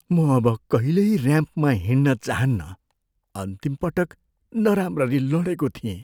म अब कहिल्यै ऱ्याम्पमा हिँड्न चाहन्नँ। अन्तिम पटक नराम्ररी लडेको थिएँ।